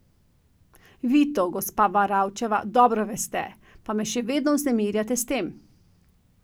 Vi to, gospa Varavčeva, dobro veste, pa me še vedno vznemirjate s tem.